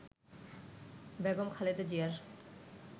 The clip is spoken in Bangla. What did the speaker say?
বেগম খালেদা জিয়ার